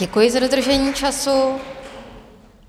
Děkuji za dodržení času.